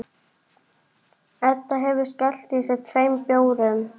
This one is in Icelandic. Svo var siglt með þá út.